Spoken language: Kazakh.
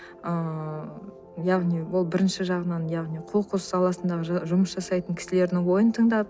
ыыы яғни ол бірінші жағынан яғни қоқыс саласындағы жұмыс жасайтын кісілердің ойын тыңдап